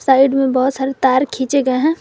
Side में बहुत सारी तार खींचे गए हैं।